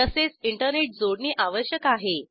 तसेच इंटरनेट जोडणी आवश्यक आहे